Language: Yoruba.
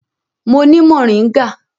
Mo ni moringa.